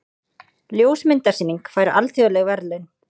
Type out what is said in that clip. Ljósmyndasýning fær alþjóðleg verðlaun